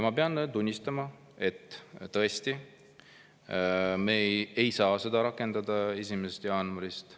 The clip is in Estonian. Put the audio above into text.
Ma pean tunnistama, et tõesti me ei saa seda rakendada 1. jaanuarist.